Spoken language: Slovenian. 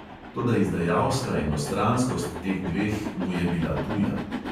Toda izdajalska enostranskost teh dveh mu je bila tuja.